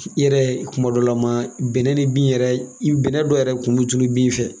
I yɛrɛ tumadɔlama bɛnɛ ni bin yɛrɛ i bɛnɛ dɔ yɛrɛ kun bi tunu bin fɛ.